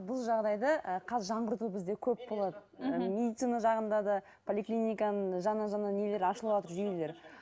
бұл жағдайда ы қазір жаңғырту бізде көп болады мхм медицина жағында да поликлиниканың жаңа жаңа нелері ашылыватыр жүйелері